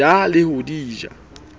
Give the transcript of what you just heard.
ja le ho di ja